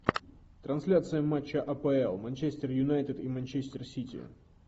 трансляция матча апл манчестер юнайтед и манчестер сити